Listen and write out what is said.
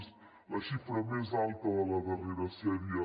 és la xifra més alta de la darrera sèrie